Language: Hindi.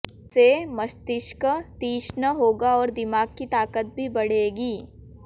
इससे मस्तिष्क तीक्ष्ण होगा और दिमाग की ताकत भी बढ़ेगी